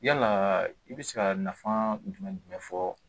Yalaa i bɛ se ka nafa jumɛn fɔ